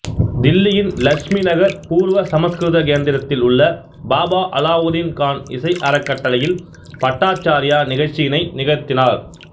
தில்லியின் இலட்சுமி நகர் பூர்வ சமசுகிருத கேந்திரத்தில் உள்ள பாபா அலாவுதீன் கான் இசை அறக்கட்டளையில் பட்டாச்சார்யா நிகழ்ச்சியினை நிகழ்த்தினார்